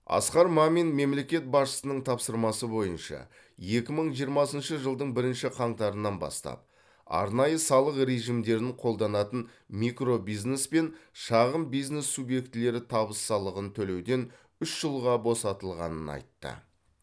асқар мамин мемлекет басшысының тапсырмасы бойынша екі мың жиырмасыншы жылдың бірінші қаңтарынан бастап арнайы салық режимдерін қолданатын микробизнес пен шағын бизнес субъектілері табыс салығын төлеуден үш жылға босатылғанын айтты